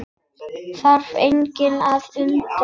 Þarf engan að undra það.